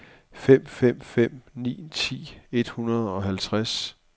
fem fem fem ni ti et hundrede og treoghalvtreds